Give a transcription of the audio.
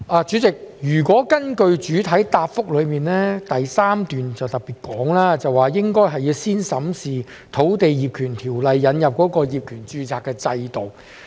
主席，主體答覆第三部分中特別提到，應先審視經《土地業權條例》引入的業權註冊制度。